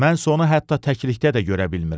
Mən onu hətta təklikdə də görə bilmirəm.